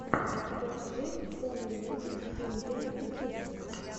покажи сони мьюзик индия ютуб